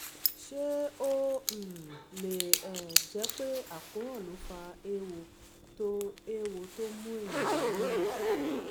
ṣé ó um lè um jẹ́ pé àkóràn ló fa eéwo tó eéwo tó mú èèyàn lábíyá?